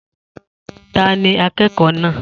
Ta ni akẹ́kọ̀ọ́ náà